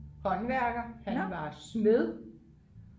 håndværker han var smed